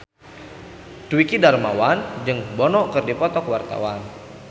Dwiki Darmawan jeung Bono keur dipoto ku wartawan